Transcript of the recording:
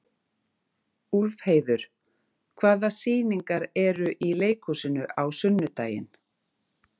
Úlfheiður, hvaða sýningar eru í leikhúsinu á sunnudaginn?